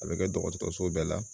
A be kɛ dɔgɔtɔrɔso bɛɛ la